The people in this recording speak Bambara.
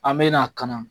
An me na ka na